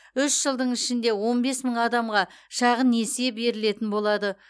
үш жылдың ішінде он бес мың адамға шағын несие берілетін болады